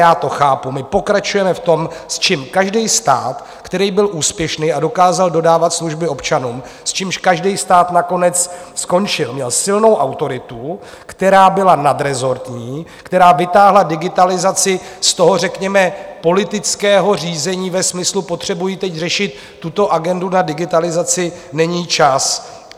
Já to chápu, my pokračujeme v tom, s čím každý stát, který byl úspěšný a dokázal dodávat služby občanům, s čím každý stát nakonec skončil, měl silnou autoritu, která byla nadrezortní, která vytáhla digitalizaci z toho řekněme politického řízení ve smyslu: Potřebuji teď řešit tuto agendu, na digitalizaci není čas.